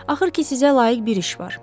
Axır ki sizə layiq bir iş var.